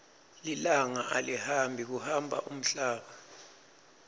lilanga alihambi kuhamba umhlaba